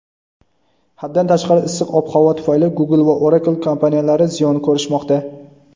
Haddan tashqari issiq ob-havo tufayli Google va Oracle kompaniyalari ziyon ko‘rishmoqda.